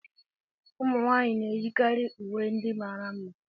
Ụmụ nwanyị na-eyikarị uwe ndị mara mma